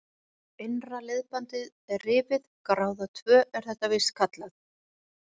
Innra liðbandið er rifið, gráða tvö er þetta víst kallað.